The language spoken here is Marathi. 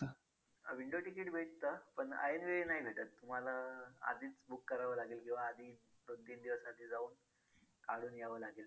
window ticket भेटतं पण ऐनवेळी नाही भेटत तुम्हाला आधीच book करावं लागेल किंवा आधी दोन तीन दिवस आधी जाऊन काढून यावं लागेल.